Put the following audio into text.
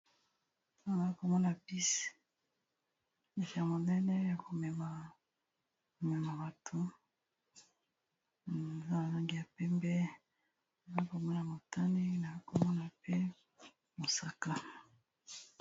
Awa naokomona pise eka monele ya komeba momema bato azala zangi ya pembe aa komona motani nama komona pe mosaka